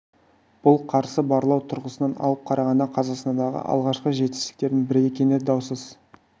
бұл қарсы барлау тұрғысынан алып қарағанда қазақстандағы алғашқы жетістіктердің бірі екені даусыз